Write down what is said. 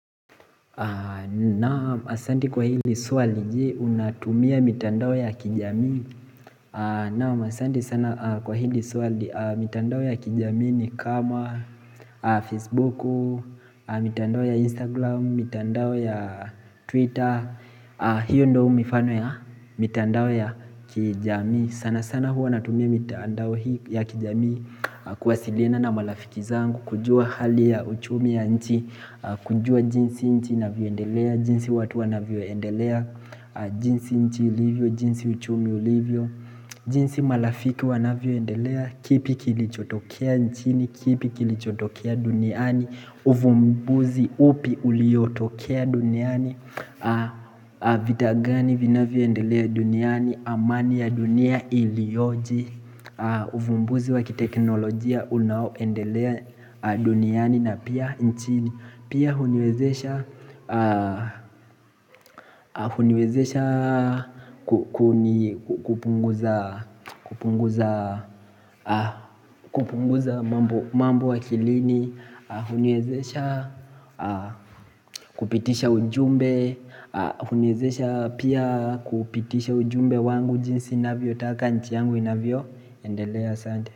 Naam asandi kwa hili swali je unatumia mitandao ya kijamii Naam asandi sana kwa hili swali mitandao ya kijamii ni kama Facebook, mitandao ya Instagram, mitandao ya Twitter hiyo ndo mifano ya mitandao ya kijamii sana sana huwa natumia mitandao ya kijamii kuwasiliana na malafiki zangu kujua hali ya uchumi ya nchi kujua jinsi nchi ina vyoendelea jinsi watu wana vyoendelea jinsi nchi livyo, jinsi uchumi ulivyo jinsi malafiki wana vyoendelea kipi kilichotokea nchini, kipi kilichotokea duniani uvumbuzi upi uliotokea duniani Vitagani vina vyoendelea duniani amani ya dunia ilioje ufumbuzi wakiteknolojia unaoendelea duniani na pia nchini Pia huniwezesha kupunguza mambo akilini huniwezesha kupitisha ujumbe huniwezesha pia kupitisha ujumbe wangu jinsi navyo taka nchi yangu navyo endelea sante.